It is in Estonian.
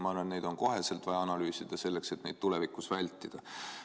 Ma arvan, et neid on koheselt vaja analüüsida, selleks et neid tulevikus vältida.